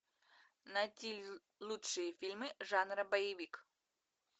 найти лучшие фильмы жанра боевик